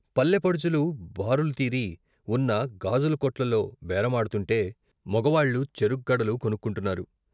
పల్లెపడుచులు బారులుతీరీ వున్న గాజుల కొట్లలో బేరమాడుతుంటే, మొగవాళ్ళు చెరుగ్గడలు కొనుక్కుంటున్నారు.